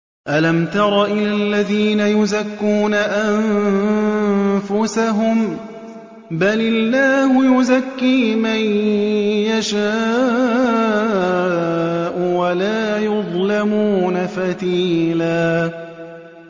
أَلَمْ تَرَ إِلَى الَّذِينَ يُزَكُّونَ أَنفُسَهُم ۚ بَلِ اللَّهُ يُزَكِّي مَن يَشَاءُ وَلَا يُظْلَمُونَ فَتِيلًا